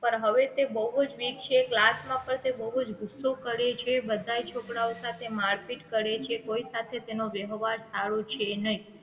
પણ હવે તે બહુજ weak છે class માં પણ તે બહુજ ગુસ્સો કરે છે બધાય છોકરાઓ સાથે મારપીટ કરે છે કોઈ સાથે તેનો વ્યવહાર સારો છે નહીં